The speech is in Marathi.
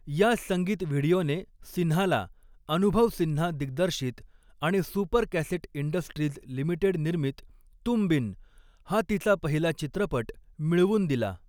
ह्या संगीत व्हिडिओने सिन्हाला, अनुभव सिन्हा दिग्दर्शित आणि सुपर कॅसेट इंडस्ट्रीज लिमिटेड निर्मित 'तुम बिन', हा तिचा पहिला चित्रपट मिळवून दिला.